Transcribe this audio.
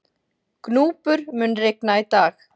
Gnúpur, mun rigna í dag?